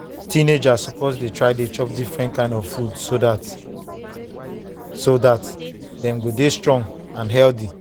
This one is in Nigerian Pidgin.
teenagers suppose dey try chop different kind of food so dat so dat dem go dey strong and healthy.